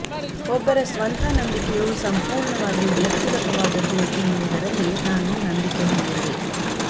ಒಬ್ಬರ ಸ್ವಂತ ನಂಬಿಕೆಯು ಸಂಪೂರ್ಣವಾಗಿ ವ್ಯಕ್ತಿಗತವಾದದ್ದು ಎನ್ನುವುದರಲ್ಲಿ ನಾನು ನಂಬಿಕೆ ಹೊಂದಿರುವೆ